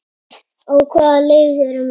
Á hvaða leið erum við?